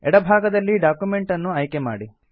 ಎಡ ಭಾಗದಲ್ಲಿ ಡಾಕ್ಯುಮೆಂಟ್ ಅನ್ನು ಆಯ್ಕೆ ಮಾಡಿ